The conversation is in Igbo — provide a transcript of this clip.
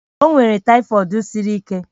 O nwere tyfod siri ike